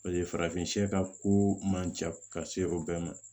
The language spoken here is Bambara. Paseke farafin ka ko man ca ka se o bɛɛ ma